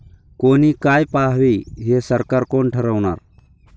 कोणी काय पाहावे हे सरकार कोण ठरवणार?